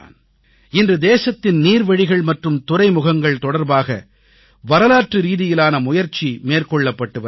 இன்று தேசத்தின் நீர்வழிகள் மற்றும் துறைமுகங்கள் தொடர்பாக வரலாற்றுரீதியிலான முயற்சி மேற்கொள்ளப்பட்டு வருகிறது